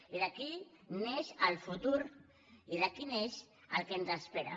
i d’aquí neix el futur i d’aquí neix el que ens espera